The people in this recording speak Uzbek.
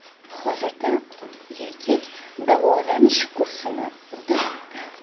Hozirda erkak davolanish kursini o‘tamoqda.